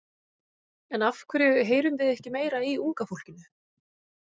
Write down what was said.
En af hverju heyrum við ekki meira í unga fólkinu?